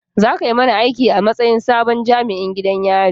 Za ka yi mana aiki a matsayin sabon jami'in gidan yari